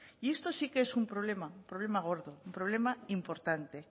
y esto sí que es un problema problema gordo un problema importante